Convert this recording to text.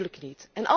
Natuurlijk niet.